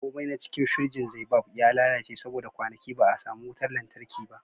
komai na cikin firjin zaibab ya lalace saboda kwanaki ba a samu wutar lantarki ba